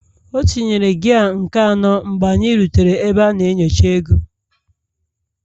Ọ tinyere gia nke anọ mgbe anyị rutere ebe a na-enyocha ego